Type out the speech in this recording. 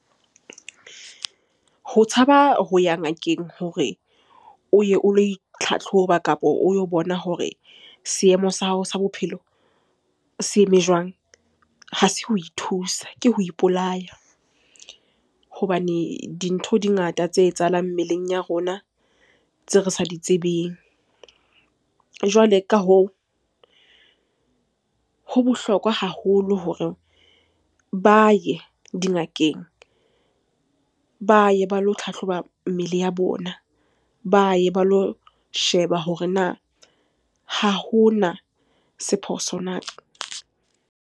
Ho tshaba ho ya ngakeng hore o ye o lo itlhatlhoba kapo o yo bona hore seemo sa hao sa bophelo se eme jwang, ha se ho ithusa ke ho ipolaya. Hobane dintho di ngata tse etsahalang mmeleng ya rona tseo re sa di tsebeng. Jwale ka hoo, ho bohlokwa haholo hore ba ye dingakeng, ba ye ba lo hlahloba mmele ya bona, ba ye ba lo sheba hore na ha hona se phoso na?